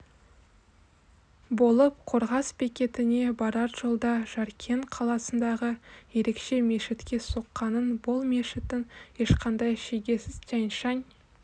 болып қорғас бекетіне барар жолда жаркент қаласындағы ерекше мешітке соққанын бұл мешіттің ешқандай шегесіз тянь-шань